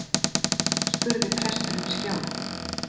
spurði presturinn skjálf